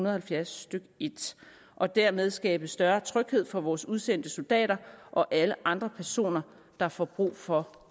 og halvfjerds stykke en og dermed skabe større tryghed for vores udsendte soldater og alle andre personer der får brug for